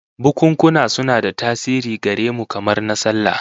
Bukunkuna suna da tasiri gare mu, kamar na sallah